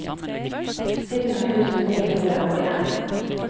sytten tusen ni hundre og en